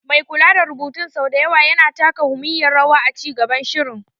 Mai kula da rubutun sau da yawa yana taka muhimmiyar rawa a ci gaban shirin.